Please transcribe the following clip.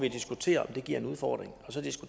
jeg skal hen fordi